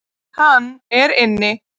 Hann er inni.